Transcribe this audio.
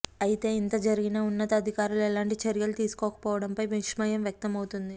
అయితే ఇంత జరిగినా ఉన్నతాధికారులు ఎలాంటి చర్యలు తీసుకోకపోవడంపై విస్మయం వ్యక్తం అవుతోంది